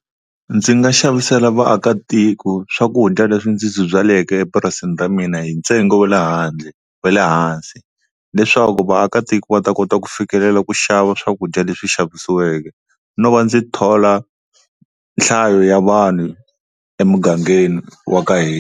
Ndzi nga xavisela vaakatiko swakudya leswi ndzi ndzi byaleke epurasini ra mina hi ntsengo wa le handle wa le hansi, leswaku vaakatiko va ta kota ku fikelela ku xava swakudya leswi xavisiweke no va ndzi thola nhlayo ya vanhu emugangeni wa ka hina.